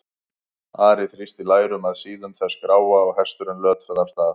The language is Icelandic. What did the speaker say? Ari þrýsti lærum að síðum þess gráa og hesturinn lötraði af stað.